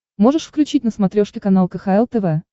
можешь включить на смотрешке канал кхл тв